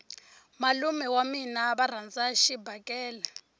malume wa mina va rhandza xibakele